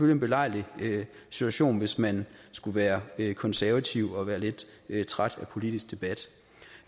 en belejlig situation hvis man skulle være konservativ og være lidt træt af politisk debat